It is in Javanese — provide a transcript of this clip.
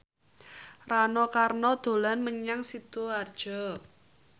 Rano Karno dolan menyang Sidoarjo